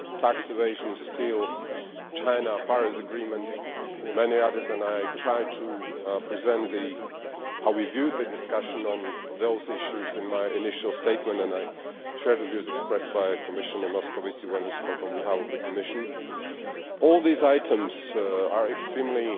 tax evasion, steel, China, the Paris agreement and many others. I tried to present how we viewed the discussion on those issues in my initial statement. I share the views expressed by Commissioner Moscovici when he spoke on behalf of the Commission. All these items are extremely